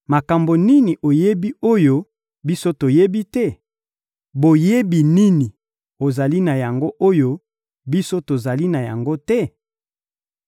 Makambo nini oyebi, oyo biso toyebi te? Boyebi nini ozali na yango, oyo biso tozali na yango te?